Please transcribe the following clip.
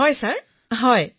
বিনোলেঃ হয় মহাশয় হয় মহাশয়